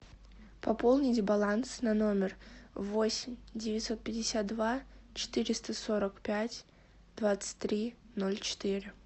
пополнить баланс на номер восемь девятьсот пятьдесят два четыреста сорок пять двадцать три ноль четыре